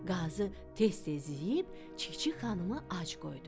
Qazı tez-tez yeyib Çik-çik xanımı ac qoydu.